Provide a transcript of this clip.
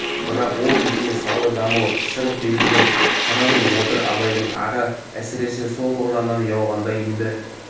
бірақ ол бетіне салы жамылып сырт беріңкіреп қырын отыр абайдың ары әсіресе сол тоғжаннан ұялғандай енді